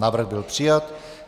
Návrh byl přijat.